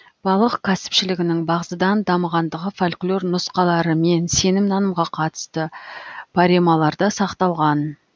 балық кәсіпшілігінің бағзыдан дамығандығы фольклор нұсқалары мен сенім нанымға қатысты паремаларда сақталған